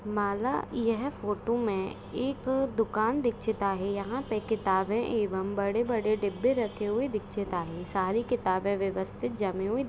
माला यह फोटो में एक दुकान दिखशिता है यहा पे किताबे एवम बड़े-बड़े डिब्बे रखे हुए दिखशिता है सारे किताबे व्यवस्तित जमे हुए-- --